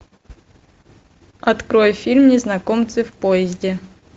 открой фильм незнакомцы в поезде